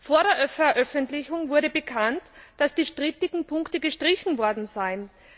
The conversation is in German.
Vor der Veröffentlichung wurde bekannt, dass die strittigen Punkte gestrichen worden seien.